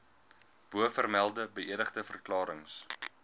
bovermelde beëdigde verklarings